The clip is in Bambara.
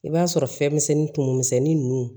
I b'a sɔrɔ fɛn misɛnnin tumuni misɛnnin ninnu